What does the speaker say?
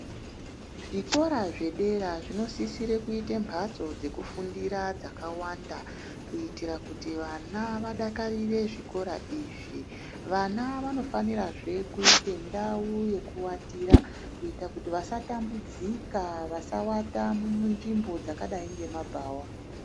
Zvikora zvedera zvinosisire kuita mhatso dzekufundira dzawanda. Kuitire kuti vana vadakarire zvikora izvi. Vana vanofanirazve kuite ndau yekuvatira kuita kuti vasatambudzika vasavata munzvimbo dzakadai ngemabhawa.